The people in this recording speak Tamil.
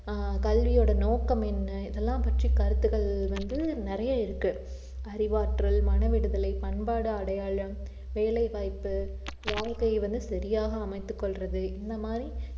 ஆஹ் கல்வியோட நோக்கம் என்ன இதெல்லாம் பற்றி கருத்துக்கள் வந்து நிறைய இருக்கு அறிவாற்றல், மன விடுதலை, பண்பாடு, அடையாளம், வேலைவாய்ப்பு வாழ்க்கைய வந்து சரியாக அமைத்துக் கொள்றது இந்த மாதிரி